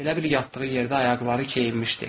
Elə bil yatdığı yerdə ayaqları keyinmişdi.